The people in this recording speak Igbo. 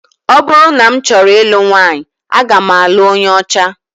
Ọ bụrụ na m chọọ ilu nwaanyị, aga m alụ onye ọcha